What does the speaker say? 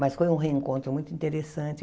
Mas foi um reencontro muito interessante.